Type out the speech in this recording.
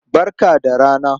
Barka da rana.